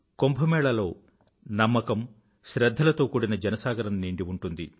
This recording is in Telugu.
కుంభ మేళా లో నమ్మకం శ్రధ్ధల తో కూడిన జనసాగరం నిండి ఉంటుంది